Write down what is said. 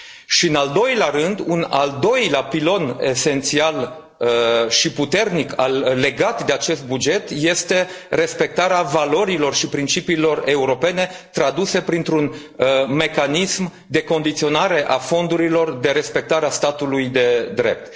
Și în al doilea rând, un al doilea pilon esențial și puternic legat de acest buget, este respectarea valorilor și principiilor europene traduse printr un mecanism de condiționare a fondurilor, de respectare a statului de drept.